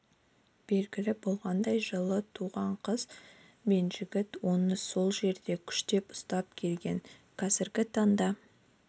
белгілі болғандай жылы туған қыз бен жігіт оны сол жерде күштеп ұстап келген қазіргі таңда